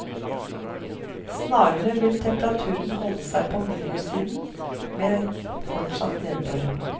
Snarere vil temperaturen holde seg på minussiden, med fortsatt nedbør.